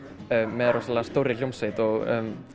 með stórri hljómsveit og